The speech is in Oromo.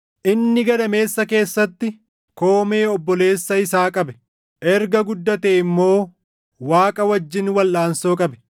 Inni gadameessa keessatti koomee obboleessa isaa qabe; erga guddatee immoo Waaqa wajjin walʼaansoo qabe.